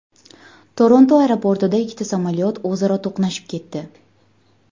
Toronto aeroportida ikkita samolyot o‘zaro to‘qnashib ketdi.